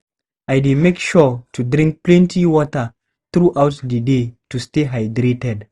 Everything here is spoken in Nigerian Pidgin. I dey make sure to drink plenty water throughout the day to stay hydrated.